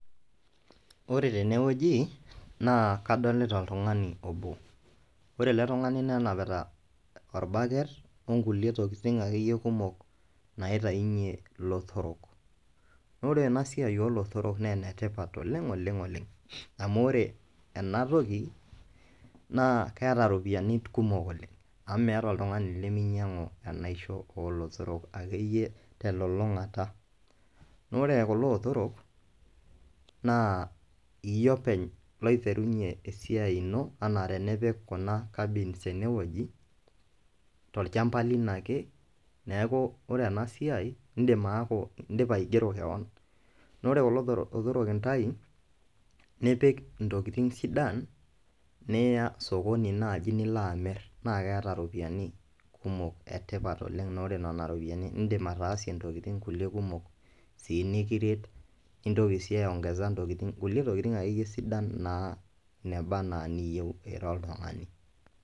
Ore tene wueji naa kadolita oltung'ani obo ore ele tung'ani nenapita orbucket o nkulie tokitin akeyie kumok naitayunye ilotorok, naa ore ena siai oo lotorok nee ene tipat oleng' oleng' oleng' amu ore ena toki naa keeta iropiani kumok oleng' amu meata oltung'ani leminyang'u enaisho oo lotorok akeyie te lulung'ata. Naa orekulo otorok naa iye openy loiterunye esiai ino enaa tenipik kuna cabins ene woji tolchamba lino ake. Neeku ore ena siai iindim aaku indipa aigero keon, naa ore kulo lotoro lotorok intayu nipik ntokitin sidan niya sokoni naaji nilo amir naake eeta ropiani kumok e tipat oleng' naa ore nena ropiani iindim ataasie ntokitin kuliek kumok sii nikiret nintoki sii aiong'eza ntokitin, nkulie tokitin akeyie sidan naa neba naa niyeu ira oltung'ani.